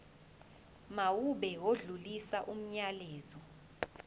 mawube odlulisa umyalezo